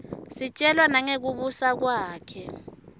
sitjelwa nangekubusa kwakhe